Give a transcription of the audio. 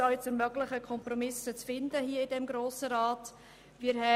Dies, um das Finden von Kompromissen hier im Grossen Rat zu ermöglichen.